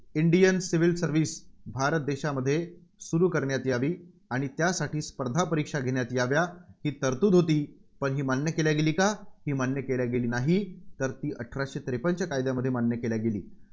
Indian Civil Service Bharat देशामध्ये सुरू करण्यात यावी आणि त्यासाठी स्पर्धा परीक्षा घेण्यात याव्या, ही तरतुद होती, पण ही मान्य केली गेली का? ही मान्य केली गेली नाही. तर ती अठराशे त्रेपन्नच्या कायद्यामध्ये मान्य केल्या गेली.